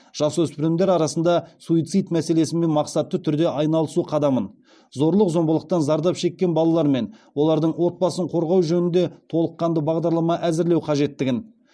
жасөспірімдер арасында суицид мәселесімен мақсатты түрде айналысу қадамын зорлық зомбылықтан зардап шеккен балалар мен олардың отбасын қорғау жөнінде толыққанды бағдарлама әзірлеу қажеттігін